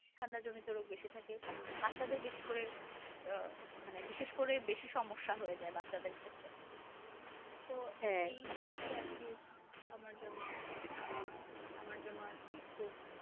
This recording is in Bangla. ঠান্ডা জনিত রোগ বেশি থাকে বাচ্চাদের বেশি করে মানে বিশেষ করে সে হয়ে যায় বাচ্চাদের ক্ষেত্রে